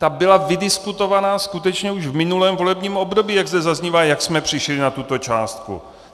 Ta byla vydiskutovaná skutečně už v minulém volebním období, jak zde zaznívá, jak jsme přišli na tuto částku.